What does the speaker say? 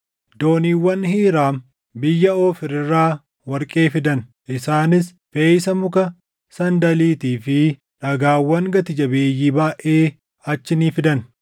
Dooniiwwan Hiiraam biyya Oofiir irraa warqee fidan; isaanis feʼiisa muka sandaliitii fi dhagaawwan gati jabeeyyii baayʼee achii ni fidan.